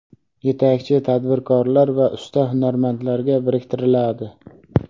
yetakchi tadbirkorlar va usta hunarmandlarga biriktiriladi;.